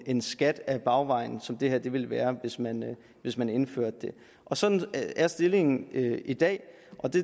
en skat ad bagvejen som det her ville være hvis man hvis man indførte det sådan er stillingen i dag